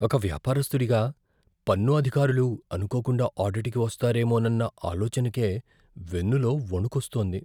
ఒక వ్యాపారస్తుడిగా, పన్ను అధికారులు అనుకోకుండా ఆడిట్కి వస్తారేమోనన్న ఆలోచనకే వెన్నులో వణుకొస్తోంది.